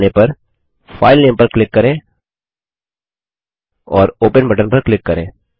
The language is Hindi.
मिल जाने पर फाइलनेम पर क्लिक करें और ओपन बटन पर क्लिक करें